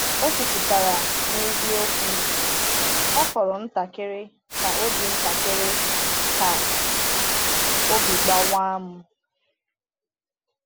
Ọ kwupụtara n’eziokwu: “Ọ fọrọ ntakịrị ka obi ntakịrị ka obi gbawa m.”